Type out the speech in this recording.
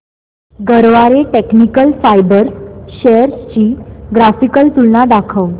Garware technical fibres shares ची graphical तुलना दाखव